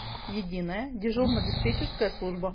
единая дежурно диспетчерская служба